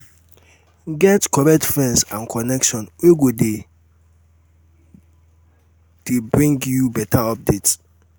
get correct friends and connection wey go de d bring you better updates